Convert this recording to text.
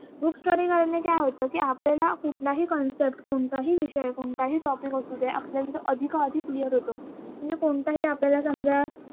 Groupstudy केल्याने काय होत कि आपल्याला कुठलाही concept कोणताही विषय, कोणताही topic असू दे आपल्याला तो अधिकाधिक clear होतो. म्हणजे कोणताही आपल्याला समजा